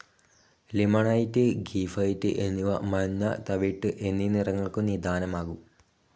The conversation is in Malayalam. ലിമൊണൈറ്റ്, ഗീഥൈറ്റ് എന്നിവ മഞ്ഞ, തവിട്ട് എന്നീ നിറങ്ങൾക്കു നിദാനമാകും.